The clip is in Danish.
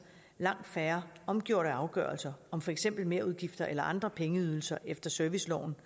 langt færre omgjorte afgørelser om for eksempel merudgifter eller andre pengeydelser efter serviceloven